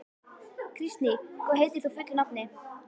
Kristný, hvað heitir þú fullu nafni?